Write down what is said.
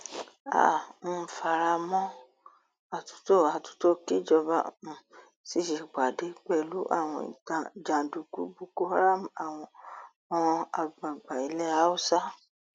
a um fara mọ àtúntò àtúntò kíjọba um sì ṣèpàdé pẹlú àwọn jàǹdùkú boko haram àwọn àgbààgbà ilẹ haúsá